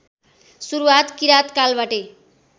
सुरुवात किराँत कालबाटै